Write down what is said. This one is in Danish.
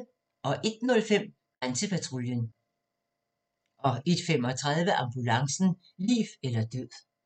01:05: Grænsepatruljen 01:35: Ambulancen - liv eller død